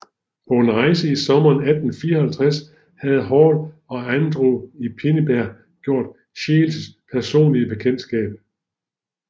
På en rejse i sommeren 1854 havde Hall og Andræ i Pinneberg gjort Scheeles personlige bekendtskab